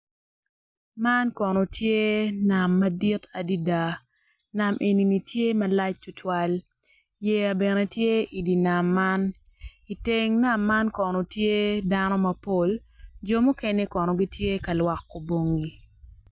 Man kono tye nam madit adada nam eni tye malac tutwal yeya bene tye i nam i teng nam man kono tye dano mapol jo mukene kono tye ka lwoko bongi.